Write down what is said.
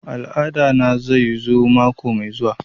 Al'ada na zai zo mako mai zuwa